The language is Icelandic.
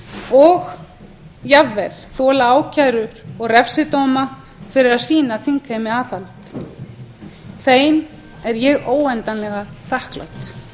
og jafnvel þola ákærur og refsidóma fyrir að sýna þingheimi aðhald þeim er ég óendanlega þakklát